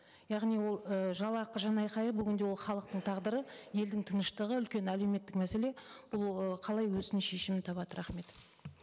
яғни ол і жалақы жан айқайы бүгінде ол халықтың тағдыры елдің тыныштығы үлкен әлеуметтік мәселе бұл ы қалай өзінің шешімін табады рахмет